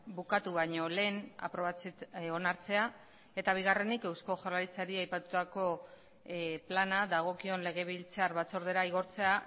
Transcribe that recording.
bukatu baino lehen onartzea eta bigarrenik eusko jaurlaritzari aipatutako plana dagokion legebiltzar batzordera igortzea